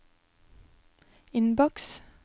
innboks